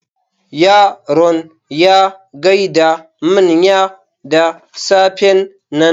Yaron ya gaida manyan da safen nan.